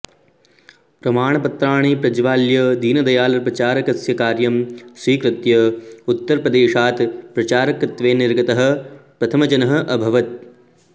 प्रमाणपत्राणि प्रज्वाल्य दीनदयाल प्रचारकस्य कार्यं स्वीकृत्य उत्तरप्रदेशात् प्रचारकत्वेन निर्गतः प्रथमजनः अभवत्